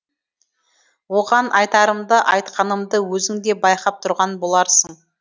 оған айтарымды айтқанымды өзің де байқап тұрған боларсың